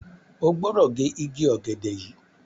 O gbódò ge ìgi Ìgi ògèdè yí!